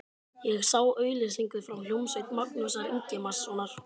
Ég sá auglýsingu frá hljómsveit Magnúsar Ingimarssonar.